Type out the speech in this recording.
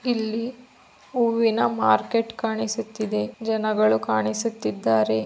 ಇಲ್ಲಿ ಹೂವುನ ಮಾರ್ಕೆಟ್ ಕಾಣಿಸುತ್ತಿದೆ ಜನಗಳು ಕಾಣಿಸುತ್ತಿದ್ದಾರೆ.